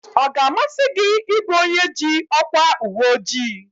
Ọ ga-amasị gị ị bụ onye ji ọkwa uweojii?